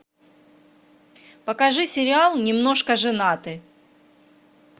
покажи сериал немножко женаты